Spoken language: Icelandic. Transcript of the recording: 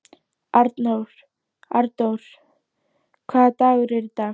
Arndór, hvaða dagur er í dag?